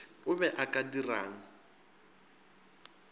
o be o ka dirang